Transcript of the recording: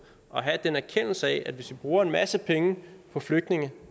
at have den erkendelse at hvis vi bruger en masse penge på flygtninge